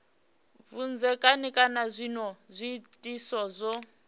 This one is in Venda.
vhudzekani kana zwinwe zwiitisi zwo